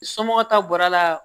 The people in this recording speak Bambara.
Somɔgɔw ta bɔra a la